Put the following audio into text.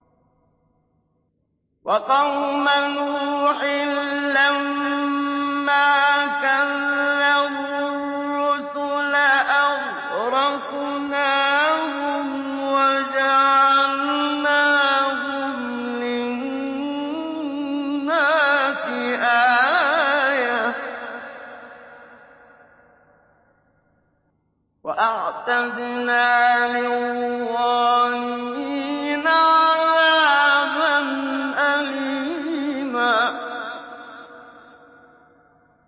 وَقَوْمَ نُوحٍ لَّمَّا كَذَّبُوا الرُّسُلَ أَغْرَقْنَاهُمْ وَجَعَلْنَاهُمْ لِلنَّاسِ آيَةً ۖ وَأَعْتَدْنَا لِلظَّالِمِينَ عَذَابًا أَلِيمًا